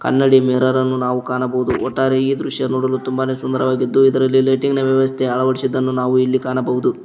ಕನ್ನಡಿ ಮಿರರ್ ಅನ್ನು ನಾವು ಕಾಣಬಹುದು ಒಟ್ಟಾರೆ ಈ ದೃಶ್ಯ ನೋಡಲು ತುಂಬಾನೆ ಸುಂದರವಾಗಿದ್ದು ಇದರಲ್ಲಿ ಲೈಟಿಂಗ ನ ವ್ಯವಸ್ಥೆ ಅಳವಡಿಸಿದ್ದನ್ನು ನಾವು ಇಲ್ಲಿ ಕಾಣಬಹುದು.